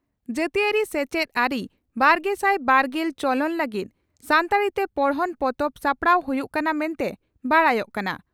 ᱡᱟᱹᱛᱤᱭᱟᱹᱨᱤ ᱥᱮᱪᱮᱫ ᱟᱹᱨᱤᱼᱵᱟᱨᱜᱮᱥᱟᱭ ᱵᱟᱨᱜᱮᱞ ᱪᱚᱞᱚᱱ ᱞᱟᱹᱜᱤᱫ ᱥᱟᱱᱛᱟᱲᱤᱛᱮ ᱯᱚᱲᱦᱚᱱ ᱯᱚᱛᱚᱵ ᱥᱟᱯᱲᱟᱣ ᱦᱩᱭᱩᱜ ᱠᱟᱱᱟ ᱢᱮᱱᱛᱮ ᱵᱟᱰᱟᱭᱚᱜ ᱠᱟᱱᱟ ᱾